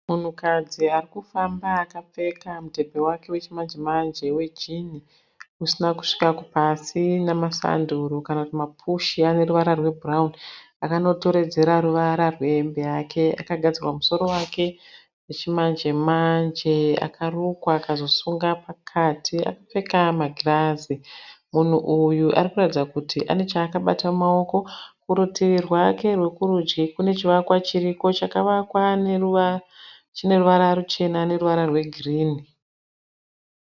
Munhukadzi ari kufamba akapfeka mudhebhe wake wechimanje-.manje, wejini usina kusvika kupasi namasanduru kana kuti mapushi ane ruvara rwebhurauuni akanotoredzera ruvara rwehembe yake. Akagadzirwa musoro wake zvechimanje -manje, akarukwa akazosunga pakati. Akapfeka magirazi. Munhu uyu ari kuratidza kuti ane chaakabata mumaoko. Kurutivi rwake rwekurudyi kune chivakwa chiriko chavakwa chine ruvara ruchena neruvara rwegirini.